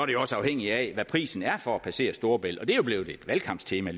det jo også afhængigt af hvad prisen er for at passere storebælt og det er jo blevet et valgkamptema